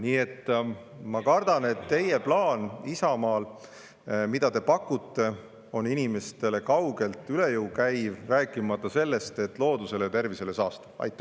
Nii et ma kardan, et teie, Isamaa plaan, mida te pakute, on inimestele kaugelt üle jõu käiv, rääkimata sellest, et loodusele saastav ja tervisele kahjulik.